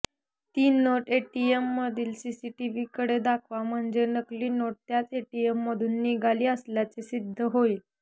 ती नोट एटीएममधील सीसीटीव्हीकडे दाखवा म्हणजे नकली नोट त्याच एटीएममधून निघाली असल्याचे सिद्ध होईल